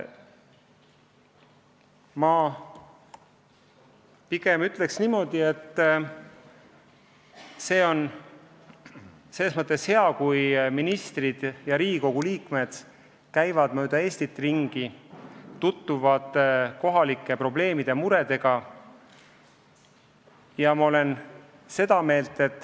Ma pigem ütleks niimoodi, et on hea, kui ministrid ja Riigikogu liikmed käivad mööda Eestit ringi, tutvuvad kohalike probleemide ja muredega.